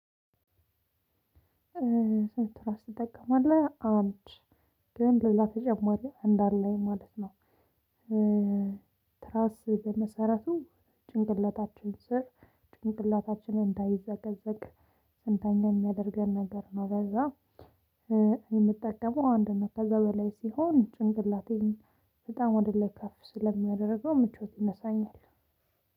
ስንት ትራስ ትጠቀማለህ? አንድ ግን ሌላ ተጨማሪ እንድ አለኝ ማለት ነው። ትራስ በመሰረቱ ጭንቅላታችን ስር ጭንቅላታችን እንዳይዘቀዘቅ ስንተኛ የሚያደርገን ነገር ነው። ለዛ የምጠቀመው አንድ ነው። ከዛ በላይ ሲሆን ጭንቅላቴን በጣም ወደ ላይ ከፍ ስለሚያደርገው ምቾት ይነሳኛል።